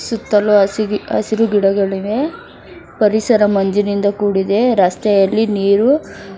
ಸುತ್ತಲೂ ಹಸಿಗೆ ಹಸಿರು ಗಿಡಗಳಿವೆ ಪರಿಸರ ಮಂಜಿನಿಂದ ಕೂಡಿದೆ ರಸ್ತೆಯಲ್ಲಿ ನೀರು --